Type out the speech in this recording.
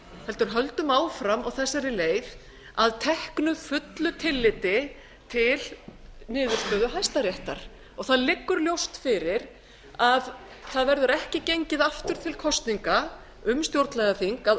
heldur höldum áfram á þessari leið að teknu fullu tilliti til niðurstöðu hæstaréttar það liggur ljóst fyrir að það verður ekki gengið aftur til kosninga um stjórnlagaþing að